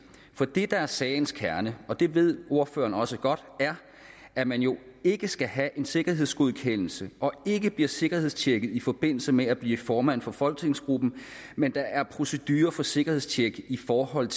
for det der er sagens kerne og det ved ordføreren også godt er at man jo ikke skal have en sikkerhedsgodkendelse og ikke bliver sikkerhedstjekket i forbindelse med at blive formand for folketingsgruppen men der er procedurer for sikkerhedstjek i forhold